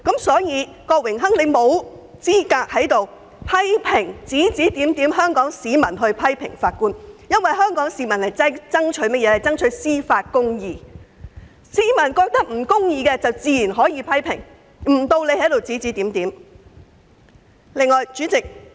所以，郭榮鏗議員沒有資格在此非議香港市民批評法官，因為香港市民爭取的是司法公義，只要認為有不公義之處，自然可作出批評，不容他在此指指點點。